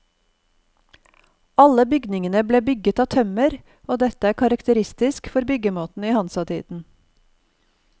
Alle bygningene ble bygget av tømmer, og dette er karakteristisk for byggemåten i hansatiden.